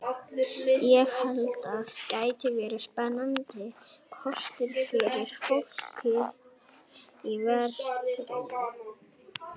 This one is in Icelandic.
Ég held að hann gæti verið spennandi kostur fyrir fólkið í vestrinu.